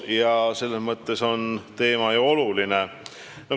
Ja selles mõttes on teema ju oluline.